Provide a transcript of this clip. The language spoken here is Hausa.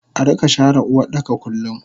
Arika share Uwardaka kullum